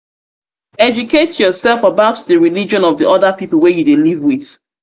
educate yourself about di religion of di oda pipo wey you dey live with